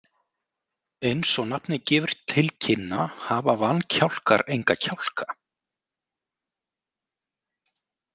Eins og nafnið gefur til kynna hafa vankjálkar enga kjálka.